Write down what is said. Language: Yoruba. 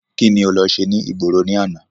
Kíni o lọ ṣe ní ìgboro ní àná?